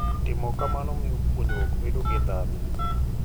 Timo kamano miyo puonjruok bedo gi ndhadhu.